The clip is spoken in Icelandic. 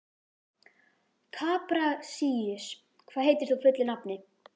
Kaprasíus, hvað heitir þú fullu nafni?